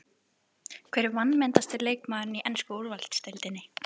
Hver er vanmetnasti leikmaðurinn í ensku úrvalsdeildinni?